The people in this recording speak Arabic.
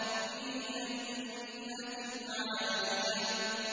فِي جَنَّةٍ عَالِيَةٍ